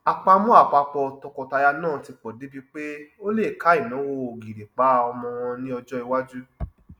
àpamọ àpapọ tọkọtaya náà ti pọ débi pé ó lè ká ináwó ògìrìpá ọmọ wọn ní ọjọ iwájú